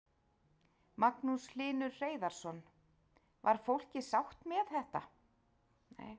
Magnús Hlynur Hreiðarsson: Var fólkið sátt með það?